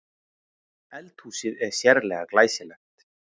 Eldhúsið er sérlega glæsilegt